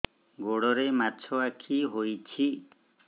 ଗୋଡ଼ରେ ମାଛଆଖି ହୋଇଛି